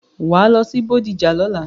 Wàá lọ sí Bódìjà lọ́la!